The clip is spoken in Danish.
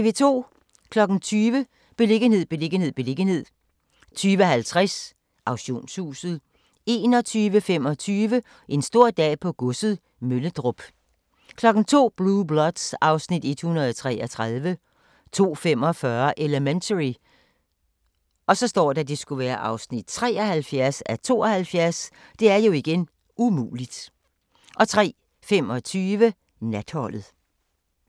20:00: Beliggenhed, beliggenhed, beliggenhed 20:50: Auktionshuset 21:25: En stor dag på godset - Møllerup 02:00: Blue Bloods (Afs. 133) 02:45: Elementary (73:72) 03:25: Natholdet